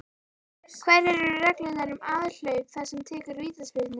Hverjar eru reglurnar um aðhlaup þess sem tekur vítaspyrnu?